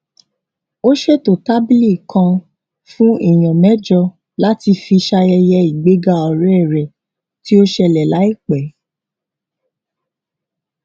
ó ṣètò tábìlì kan fún èèyàn méjọ láti fi ṣayẹyẹ ìgbéga ọrẹ rẹ tí ó ṣẹlẹ láìpẹ